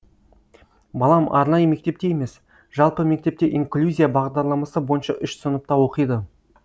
балам арнайы мектепте емес жалпы мектепте инклюзия бағдарламасы бойынша үш сыныпта оқиды